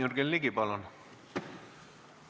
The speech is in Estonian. Jürgen Ligi, palun!